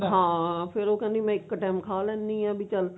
ਹਾਂ ਫ਼ੇਰ ਉਹ ਕਹਿੰਦੀ ਮੈਂ ਇੱਕ time ਖਾ ਲੈਣੀ ਆ ਬੀ ਚੱਲ